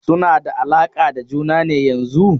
Suna da alaƙa da juna ne yanzun?